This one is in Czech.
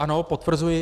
Ano, potvrzuji.